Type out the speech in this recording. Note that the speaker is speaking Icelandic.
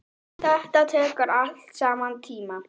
Þetta tekur allt saman tíma.